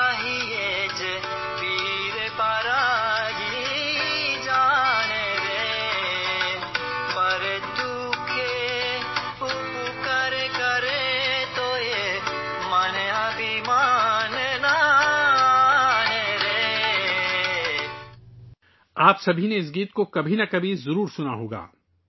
آپ سب نے کبھی نہ کبھی یہ گانا ضرور سنا ہوگا